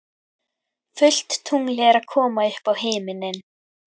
Fullt tungl er að koma upp á himininn.